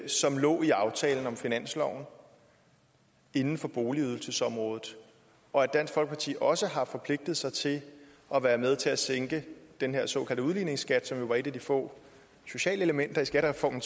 som lå i aftalen om finansloven inden for boligydelsesområdet og at dansk folkeparti også har forpligtet sig til at være med til at sænke den her såkaldte udligningsskat som jo var et af de få sociale elementer i skattereformen